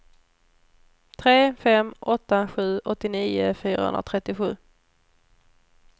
tre fem åtta sju åttionio fyrahundratrettiosju